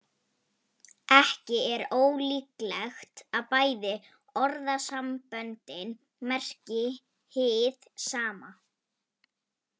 Ekki er ólíklegt að bæði orðasamböndin merki hið sama.